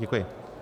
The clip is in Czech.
Děkuji.